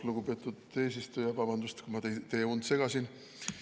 Lugupeetud eesistuja, vabandust, kui ma teie und segasin!